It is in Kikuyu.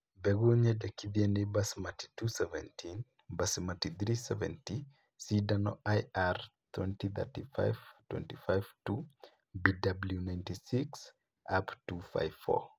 Mbegũ nyendekithie ni Basmati 217, Basmati 370, Sindano, IR 2035-25-2, BW 96, UP 254